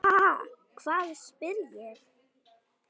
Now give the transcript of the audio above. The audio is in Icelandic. Ha, hvað? spyr ég.